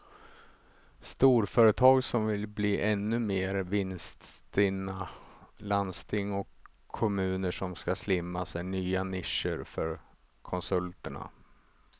Storföretag som vill bli ännu mer vinststinna, landsting och kommuner som ska slimmas är nya nischer för konsulterna.